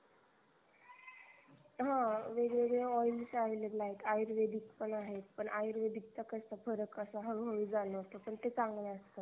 हा वेगवेगळे oil available आहेत. आयुर्वेदिक पण आहेत पण आयुर्वेदिकचा कसा फरक असा हळू हळू जाणवतो पण ते चांगले असतात